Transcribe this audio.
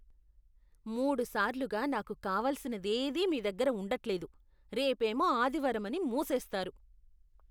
మూడు సార్లుగా నాకు కావలసినదేదీ మీ దగ్గర ఉండట్లేదు, రేపేమో ఆదివారం అని మూసేస్తారు.